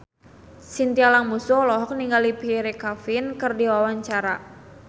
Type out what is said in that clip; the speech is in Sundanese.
Chintya Lamusu olohok ningali Pierre Coffin keur diwawancara